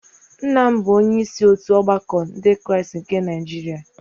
nna m bụ onye isi otu ọgbakọ Ndị Kraịst nke Niajiria